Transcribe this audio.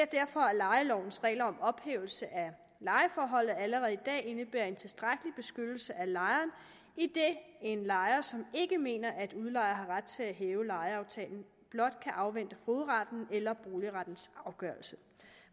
derfor at lejelovens regler om ophævelse af lejeforholdet allerede i dag indebærer en tilstrækkelig beskyttelse af lejeren idet en lejer som ikke mener at udlejer har ret til at hæve lejeaftalen blot kan afvente fogedrettens eller boligrettens afgørelse